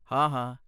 ਹਾਂ, ਹਾਂ।